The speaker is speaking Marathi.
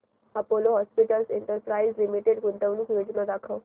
अपोलो हॉस्पिटल्स एंटरप्राइस लिमिटेड गुंतवणूक योजना दाखव